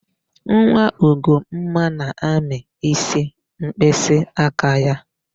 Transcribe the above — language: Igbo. Nwa Ugomma na-amị ísí mkpịsịaka ya.